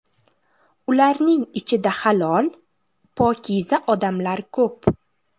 Ularning ichida halol, pokiza odamlar ko‘p.